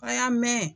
A y'a mɛn